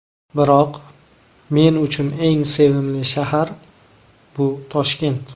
Biroq men uchun eng sevimli shahar bu Toshkent.